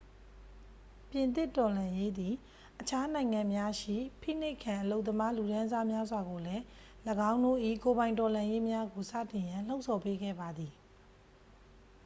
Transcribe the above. ပြင်သစ်တော်လှန်ရေးသည် အခြားနိုင်ငံများရှိ ဖိနှိပ်ခံ အလုပ်သမားလူတန်းစားများစွာကိုလည်း ၎င်းတို့၏ကိုယ်ပိုင်တော်လှန်ရေးများကိုစတင်ရန် လှုံ့ဆော်ပေးခဲ့ပါသည်